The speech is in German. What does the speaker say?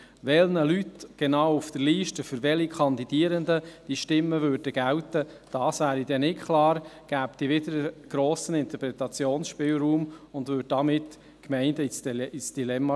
Welchen Leuten auf der Liste, welchen Kandidierenden die Stimmen gälten, wäre nicht klar, führte zu einem grossen Interpretationsspielraum und stürzte die Gemeinden somit ins Dilemma.